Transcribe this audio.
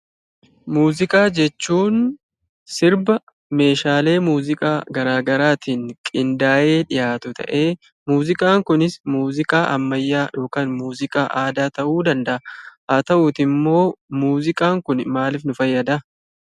Muuziqaa jechuun sirba meeshaalee muuziqaa garaa garatiin qindaa'ee dhiyaatu ta'ee muuziqaan kunis muuziqaa ammayyaa yookan muuziqaa aadaa ta'uu danda'a. Haa ta'uutiimmoo muuziqaan kuni maalif nu fayyadaa?